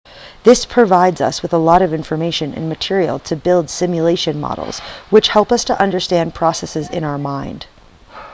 this provides us with a lot of information and material to build simulation models which help us to understand processes in our mind